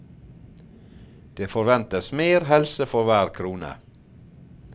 Det forventes mer helse for hver krone.